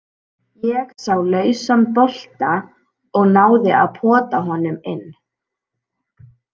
Ég sá lausan bolta og náði að pota honum inn.